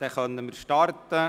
Dann können wir starten.